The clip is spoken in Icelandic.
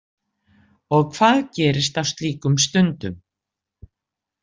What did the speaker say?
Og hvað gerist á slíkum stundum?